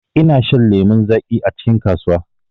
ina shan lemu zaƙi acikin kasuwa.